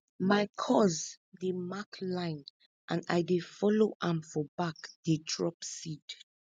my cuz dey mark line and i dey follow am for back dey drop seed